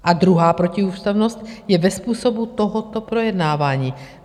A druhá protiústavnost je ve způsobu tohoto projednávání.